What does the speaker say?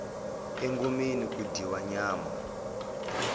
engomeni ku dyiwa nyama